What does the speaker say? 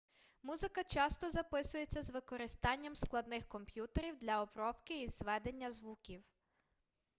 музика часто записується з використанням складних комп'ютерів для обробки і зведення звуків